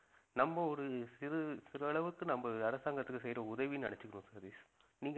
நம்ம ஒரு சிறு சிறு அளவுக்கு நம்ம அரசாங்கத்துக்கு செய்யற உதவின்னு நினைச்சிக்கணும் சதீஷ் நீங்க